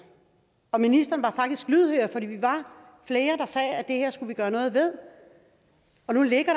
og ministeren var faktisk lydhør fordi vi var flere der sagde at det her skulle der gøres noget ved og nu ligger